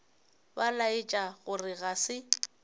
ba laetša gore ga se